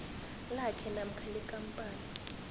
lakhe namkha lekampani